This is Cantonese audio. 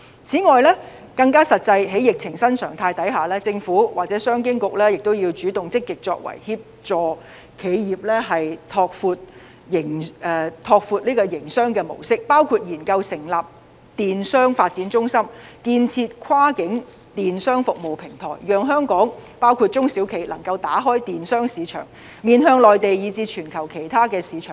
此外，更加實際可行的是，在疫情新常態下，政府或商務及經濟發展局要主動積極作為協助企業拓闊營商模式，包括研究成立電子商務發展中心、建設跨境電子商務服務平台，讓香港，包括中小企能夠打開電子商務市場，面向內地以至全球其他市場。